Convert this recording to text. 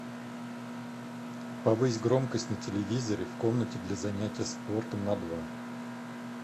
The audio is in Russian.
повысь громкость на телевизоре в комнате для занятия спортом на два